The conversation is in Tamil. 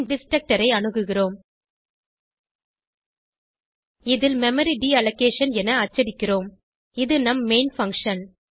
பின் டிஸ்ட்ரக்டர் ஐ அணுகுகிறோம் இதில் மெமரி டீலோகேஷன் என அச்சடிக்கிறோம் இது நம் மெயின் பங்ஷன்